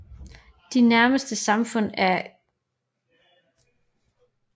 De nærmeste samfund er Qikqtarjuaq og Pangnirtung